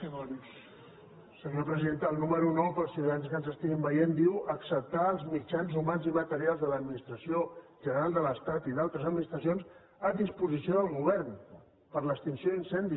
senyora presidenta el número nou per als ciutadans que ens estiguin veient diu acceptar els mitjans humans i materials de l’administració general de l’estat i d’altres administracions a disposició del govern per a l’extinció d’incendis